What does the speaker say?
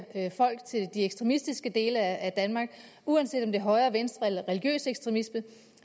folk til de ekstremistiske dele af danmark uanset om det er højre venstre eller religiøs ekstremisme